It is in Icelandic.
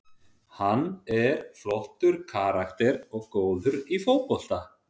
Hann er flottur karakter og góður í fótbolta.